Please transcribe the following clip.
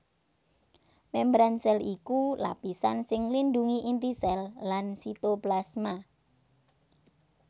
Mémbran sèl iku lapisan sing nglindhungi inti sèl lan sitoplasma